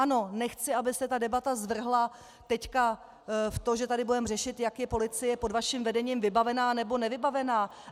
Ano, nechci, aby se ta debata zvrhla teď v to, že tady budeme řešit, jak je policie pod vaším vedením vybavená, nebo nevybavená.